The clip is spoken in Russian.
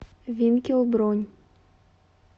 винкел бронь